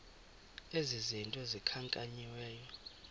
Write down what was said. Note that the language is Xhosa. ezi zinto zikhankanyiweyo